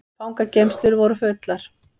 Fangageymslur voru fullar